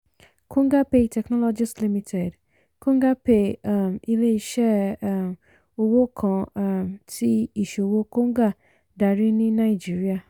kongapay technologies limited: kongapay um ilé iṣẹ́ um owó kan um tí iṣòwò konga darí ní naijiría.